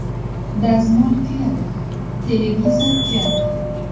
Dazmol kuyadi, televizor kuyadi”.